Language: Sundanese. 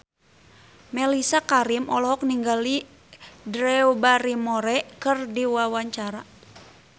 Mellisa Karim olohok ningali Drew Barrymore keur diwawancara